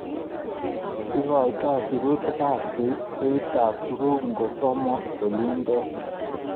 Igoitoi sirutikab beitab tuguk ngosom olindet